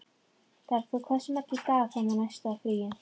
Bergþór, hversu margir dagar fram að næsta fríi?